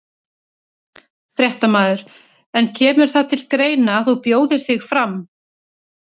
Fréttamaður: En kemur það til greina að þú bjóðir þig fram?